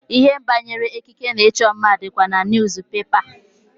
Ihe banyere ekike na ịchọ mma dịkwa na niyuzupepa.